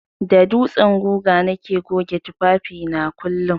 Da dutsen guga nake goge tufafi na kullun.